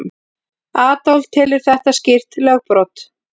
Adolf telur þetta skýrt lögbrot.